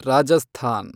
Rajasthan